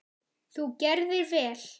Þú gerðir vel!